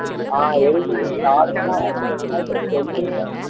ஆஹ் எழுதி வை நாளைக்கு எல்லாம் உனக்கு ஒரு நாள் இருக்கு எழுதிடுடா